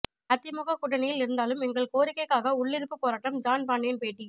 அதிமுக கூட்டணியில் இருந்தாலும் எங்கள் கோரிக்கைக்காக உள்ளிருப்புப் போராட்டம் ஜான் பாண்டியன் பேட்டி